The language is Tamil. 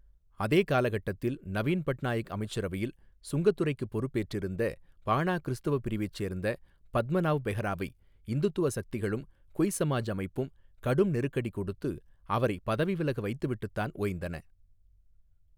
அதே காலகட்டத்தில் நவின் பட்நாயக் அமைச்சரவையில் சுரங்கத்துறைக்குப் பொறுப்பேற்றிருந்த பானா கிறிஸ்தவப் பிரிவைச் சேர்ந்த பத்மநாவ் பெஹைராவை இந்துத்துவ சக்திகளும் குய் சமாஜ் அமைப்பும் கடும் நெருக்கடி கொடுத்து அவரை பதவி விலக வைத்துவிட்டுத்தான் ஓய்ந்தன.